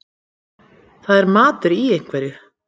Það er matur í einhverju